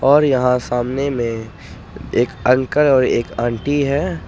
और यहां सामने में एक अंकल और एक आंटी है।